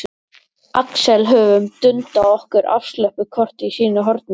Axel höfum dundað okkur afslöppuð hvort í sínu horni.